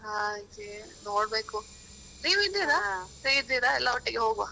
ಹಾಗೆ ನೋಡ್ಬೇಕು, ನೀವ್ ಇದ್ದೀರಾ? free ಇದ್ದೀರಾ ಎಲ್ಲರ ಒಟ್ಟಿಗೆ ಹೋಗುವ.